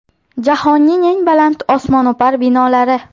Jahonning eng baland osmono‘par binolari .